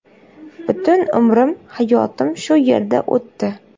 Butun umrim, hayotim shu yerda o‘tdi.